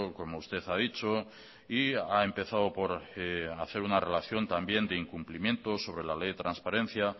como usted ha dicho y ha empezado por hacer una relación también de incumplimiento sobre la ley de transparencia